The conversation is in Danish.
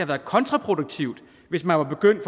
været kontraproduktivt hvis man var begyndt